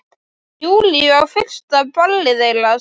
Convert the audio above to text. Júlíu á fyrsta ballið þeirra saman.